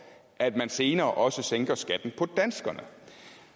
at man senere også sænker skatten for danskerne